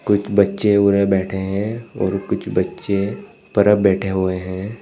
एक बच्चे उरे बैठे हैं और कुछ बच्चे परब बैठे हुए हैं।